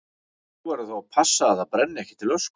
Þú verður þá að passa að það brenni ekki til ösku.